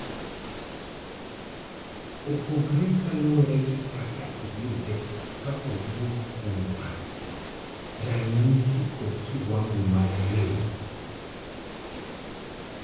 opogore kaluore gi kaka iyude kawuok kuom wat, ranyisi kod kiwango mar rem